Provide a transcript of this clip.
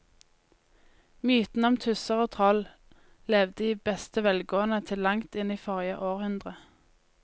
Mytene om tusser og troll levde i beste velgående til langt inn i forrige århundre.